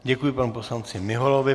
Děkuji panu poslanci Miholovi.